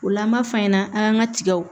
O la an b'a f'an ɲɛna an ŋa tigaw